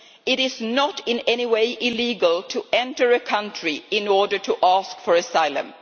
It is not in any way illegal to enter a country in order to ask for asylum.